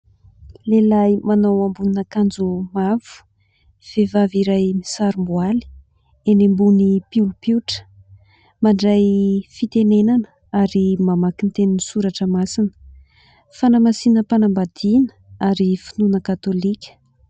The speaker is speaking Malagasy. Lehilahy manao ambonin'akanjo mavo vehivavy iray misarom-boaly enỳ ambony polipitra mandray fitenenana ary mamaky ny tenin'ny soratra masina. Fanamasinam-panambadiana ary finoana katolika.